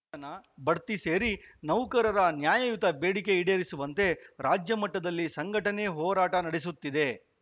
ವೇತನ ಬಡ್ತಿ ಸೇರಿ ನೌಕರರ ನ್ಯಾಯುಯತ ಬೇಡಿಕೆ ಈಡೇರಿಸುವಂತೆ ರಾಜ್ಯ ಮಟ್ಟದಲ್ಲಿ ಸಂಘಟನೆ ಹೋರಾಟ ನಡೆಸುತ್ತಿದೆ